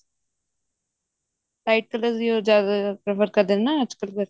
ਤਾਂ ਇੱਕ ਤਾਂ ਉਹ ਜਦ work ਕਰਦੇ ਨੇ ਨਾ ਅੱਜਕਲ